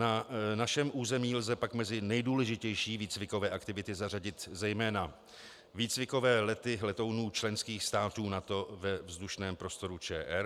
Na našem území lze pak mezi nejdůležitější výcvikové aktivity zařadit zejména výcvikové lety letounů členských států NATO ve vzdušném prostoru ČR.